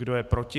Kdo je proti,